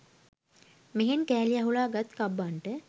මෙහෙන් කෑලි අහුලා ගත් කබ්බන්ට